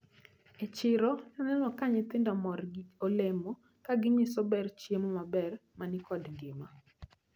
E chiro naneno ka nyithindo mor gi olemo, kaginyiso ber chiemo maber manikod ngima.